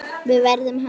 En verður hann áfram?